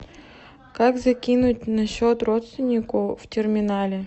как закинуть на счет родственнику в терминале